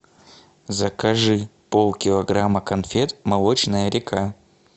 закажи полкилограмма конфет молочная река